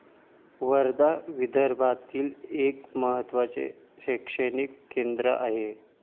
वर्धा विदर्भातील एक महत्त्वाचे शैक्षणिक केंद्र आहे.